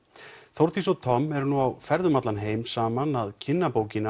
Þórdís og Tom eru nú á ferð um allan heim saman að kynna bókina